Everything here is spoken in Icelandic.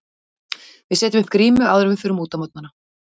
Við setjum upp grímu áður en við förum út á morgnana.